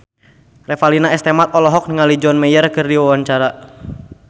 Revalina S. Temat olohok ningali John Mayer keur diwawancara